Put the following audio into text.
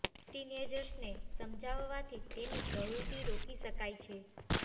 tin એજર્સને સમજાવવાથી તેની પ્રવૃતિ રોકી શકાય છે